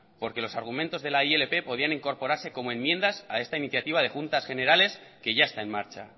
porque los argumentos de la ilp podían incorporarse como enmiendas a esta iniciativa de juntas generales que ya está en marcha